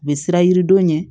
U bɛ sira yiri don ɲɛ